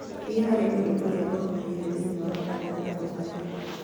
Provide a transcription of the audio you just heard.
thiĩ harĩ ũndũ ũrĩa ũrũmĩrĩire thĩinĩ wa kalendari na ũũtharie